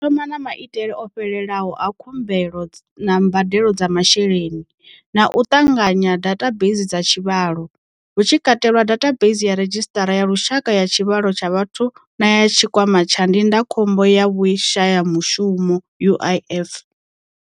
Ro thoma na maitele o fhelelaho a khumbelo na mbadelo dza masheleni, na u ṱanganya dathabeisi dza tshivhalo, hu tshi katelwa dathabeisi ya Redzhisiṱara ya Lushaka ya Tshivhalo tsha Vhathu na ya Tshikwama tsha Ndindakhombo ya Vhushayamushumo UIF.